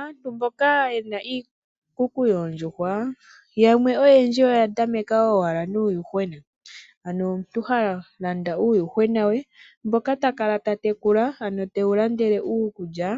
Aantu mboka yena iikuku yoondjuhwa yamwe oyendji oyatameka owala nuuyuhwena, ano omuntu halanda uuyuhwena we mboka takala tatekula ano tewu landele uukulya